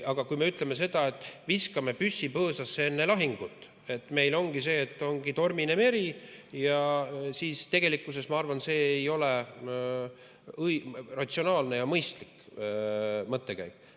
Aga kui me ütleme, et viskame püssi põõsasse enne lahingut, et ongi tormine meri, siis ma arvan, et see ei ole ratsionaalne ja mõistlik mõttekäik.